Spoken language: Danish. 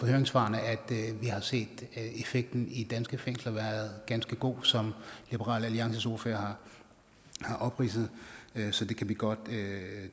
høringssvarene vi har set at effekten i danske fængsler har været ganske god som liberal alliances ordfører har opridset så det kan vi godt